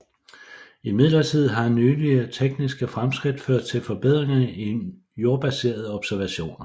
Imidlertid har nylige tekniske fremskridt ført til forbedringer i jordbaserede observationer